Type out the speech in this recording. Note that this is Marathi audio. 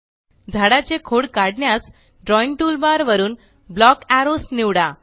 झाडाचे खोड काढण्यास ड्रॉइंग टूलबार वरून ब्लॉक एरोज निवडा